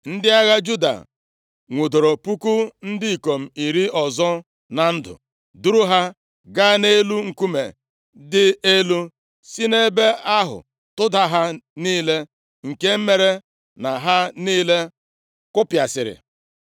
Ndị agha Juda nwudoro puku ndị ikom iri ọzọ na ndụ, duru ha gaa nʼelu nkume dị elu, si nʼebe ahụ tụda ha niile, nke mere na ha niile kụpịasịrị.